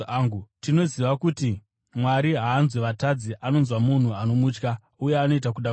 Tinoziva kuti Mwari haanzwi vatadzi. Anonzwa munhu anomutya uye anoita kuda kwake.